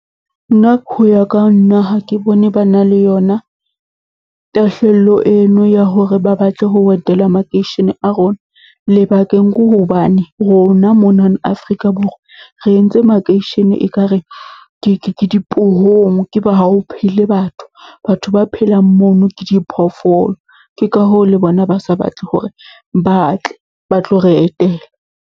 Nna ya ka nna ha ke bone ba na le yona, tahlello eno ya hore ba batle ho etela makeishene a rona. Lebakeng hobane rona mona Afrika Borwa re entse makeishene e kare ke dipohong, e ba ha ho phele batho. Batho ba phelang mono ke di phoofolo, ke ka hoo le bona ba sa batle hore, ba tle ba tlo re etela.